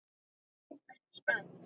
Ertu spennt?